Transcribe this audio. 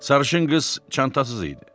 Sarışın qız çantasız idi.